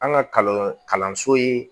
An ka kalan kalanso ye